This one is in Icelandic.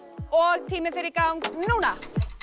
og tíminn fer í gang núna